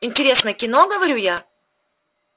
интересное кино говорю я